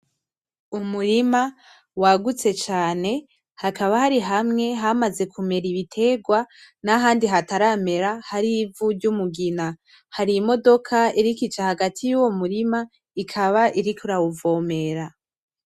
Umurima wagutse cane hakaba hari hamwe hamaze kumera ibiterwa nahandi hataramera hari ivu ry'umugina. Hari imodoka iriko ica hagati yuwo m'urima ikaba iriko irawuvomera.